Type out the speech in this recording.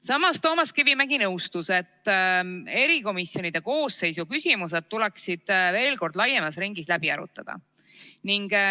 Samas Toomas Kivimägi nõustus, et erikomisjonide koosseisu küsimused tuleks laiemas ringis veel kord läbi arutada.